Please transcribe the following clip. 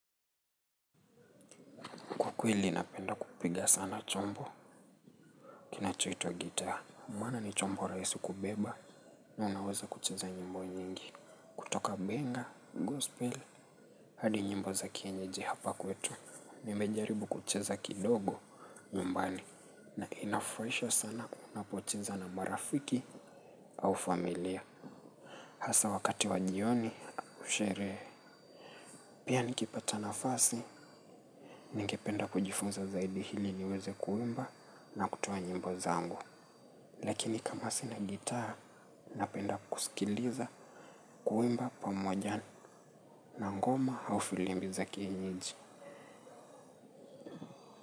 Kwa kweli napenda kupiga sana chombo kinachuitwa gitaa. Maana ni chombo raisi kubeba na unaweza kucheza nyimbo nyingi. Kutoka benga, gospel, hadi nyimbo za kienyeji hapa kwetu. Nimejaribu kucheza kidogo nyumbani. Na inafuraisha sana unapocheza na marafiki au familia. Hasa wakati wa jioni, ushere pia nikipata nafasi. Ningependa kujifunza zaidi hili niweze kuimba na kutoa nyimbo zangu. Lakini kama sina gitaa napenda kusikiliza, kuimba pamoja na ngoma au filimbi za kienyeji.